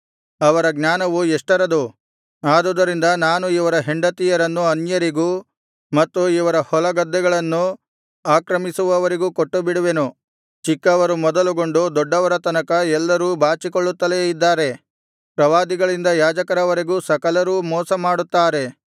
ಅವರ ಜ್ಞಾನವು ಎಷ್ಟರದು ಆದುದರಿಂದ ನಾನು ಇವರ ಹೆಂಡತಿಯರನ್ನು ಅನ್ಯರಿಗೂ ಮತ್ತು ಇವರ ಹೊಲಗದ್ದೆಗಳನ್ನು ಆಕ್ರಮಿಸುವವರಿಗೂ ಕೊಟ್ಟುಬಿಡುವೆನು ಚಿಕ್ಕವರು ಮೊದಲುಗೊಂಡು ದೊಡ್ಡವರ ತನಕ ಎಲ್ಲರೂ ಬಾಚಿಕೊಳ್ಳುತ್ತಲೇ ಇದ್ದಾರೆ ಪ್ರವಾದಿಗಳಿಂದ ಯಾಜಕರವರೆಗೆ ಸಕಲರೂ ಮೋಸಮಾಡುತ್ತಾರೆ